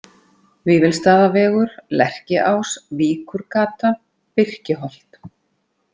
Vífilsstaðavegur, Lerkiás, Víkurgata, Birkiholt